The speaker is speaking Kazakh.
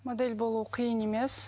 модель болу қиын емес